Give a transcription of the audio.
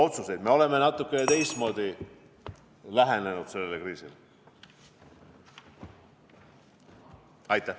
Nüüd me oleme natuke teistmoodi sellele kriisile lähenenud.